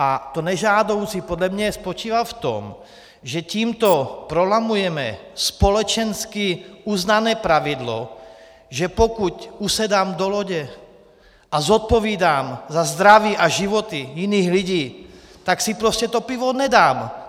A to nežádoucí podle mě spočívá v tom, že tímto prolamujeme společensky uznané pravidlo, že pokud usedám do lodě a zodpovídám za zdraví a životy jiných lidí, tak si prostě to pivo nedám!